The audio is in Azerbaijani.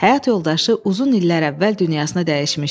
Həyat yoldaşı uzun illər əvvəl dünyasını dəyişmişdi.